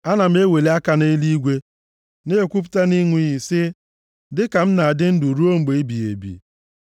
Ana m eweli aka nʼeluigwe na-ekwupụta nʼịnụ iyi sị, dịka m na-adị ndụ ruo mgbe ebighị ebi,